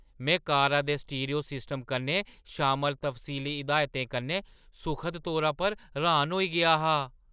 में कारा दे स्टीरियो सिस्टम कन्नै शामल तफसीली हिदायतें कन्नै सुखद तौरा पर र्‌हाना होई गेआ हा।